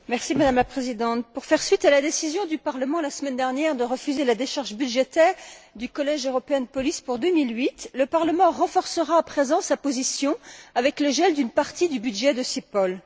Madame la Présidente, pour faire suite à la décision du Parlement, la semaine dernière, de refuser la décharge budgétaire du Collège européen de police pour 2008, le Parlement renforcera à présent sa position avec le gel d'une partie du budget du CEPOL.